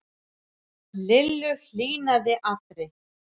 Lillu hlýnaði allri.